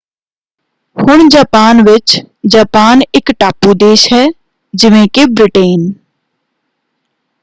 ਹੁਣ ਜਾਪਾਨ ਵਿੱਚ ਜਾਪਾਨ ਇਕ ਟਾਪੂ ਦੇਸ਼ ਹੈ ਜਿਵੇਂ ਕਿ ਬ੍ਰਿਟੇਨ।